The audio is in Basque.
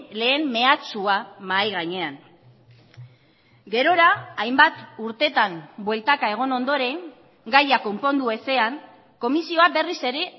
lehen mehatxua mahai gainean gerora hainbat urteetan bueltaka egon ondoren gaia konpondu ezean komisioa berriz ere